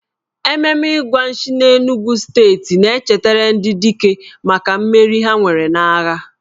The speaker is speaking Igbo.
Ememe Igwa Nshi n'Enugwu steeti na-echetara ndị dike maka mmeri ha nwere n'agha.